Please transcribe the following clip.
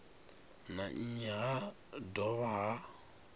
na nnyi ha dovha ha